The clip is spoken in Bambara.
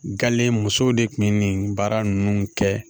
musow de tun bɛ nin baara ninnu kɛ